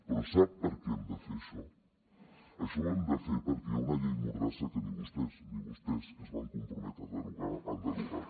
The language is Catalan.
però sap per què hem de fer això això ho hem de fer perquè hi ha una llei mordassa que ni vostès ni vostès que es van comprometre a derogar la l’han derogat